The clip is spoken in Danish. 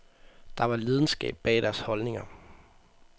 Der var lidenskab bag deres holdninger.